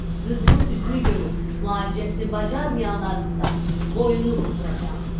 Qızımın üzünü görüb, müalicəsini bacarmayanlarınsa, boynunu vurduracam.